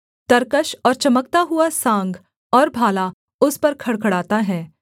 तरकश और चमकता हुआ सांग और भाला उस पर खड़खड़ाता है